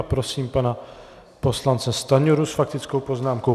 A prosím pana poslance Stanjuru s faktickou poznámkou.